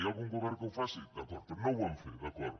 hi ha algun govern que ho faci d’acord però no ho vam fer d’acord